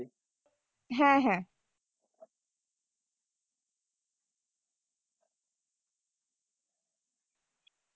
হ্যাঁ হ্যাঁ।